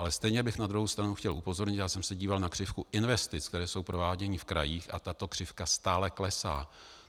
Ale stejně bych na druhou stranu chtěl upozornit, já jsem se díval na křivku investic, které jsou prováděny v krajích, a tato křivka stále klesá.